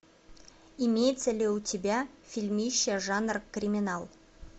имеется ли у тебя фильмище жанр криминал